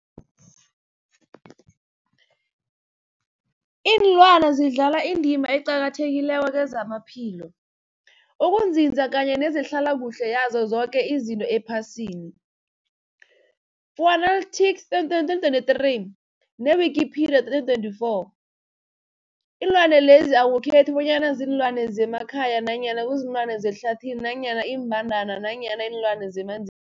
Ilwana zidlala indima eqakathekileko kezamaphilo, ukunzinza kanye nezehlala kuhle yazo zoke izinto ephasini, Fuanalytics 2023, ne-Wikipedia 2024. Iinlwana lezi akukhethi bonyana ziinlwana zemakhaya nanyana kuziinlwana zehlathini nanyana iimbandana nanyana iinlwana zemanzi